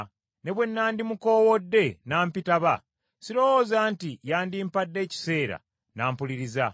Ne bwe na ndimukoowodde n’ampitaba, sirowooza nti yandimpadde ekiseera n’ampuliriza.